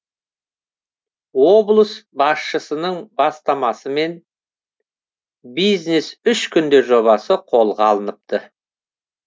облыс басшысының бастамасымен бизнес үш күнде жобасы қолға алыныпты